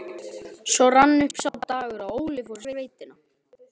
Svo rann upp sá dagur að Óli fór í sveitina.